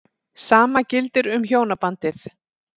Sama gildir um hjónabandið.